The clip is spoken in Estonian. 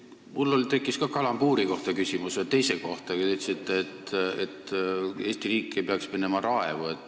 Mul tekkis ka küsimus kalambuuri kohta – ühe teise kohta, kui te ütlesite, et Eesti riik ei peaks minema raevu.